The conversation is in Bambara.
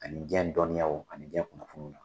Ani jiyɛn dɔnniyaw ani jiyɛn kunnafoniw.